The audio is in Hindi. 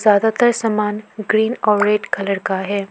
ज्यादातर सामान ग्रीन और रेड कलर का है।